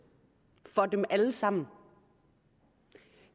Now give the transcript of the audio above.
for dem alle sammen